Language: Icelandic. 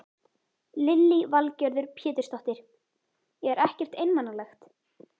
Lillý Valgerður Pétursdóttir: Er ekkert einmanalegt?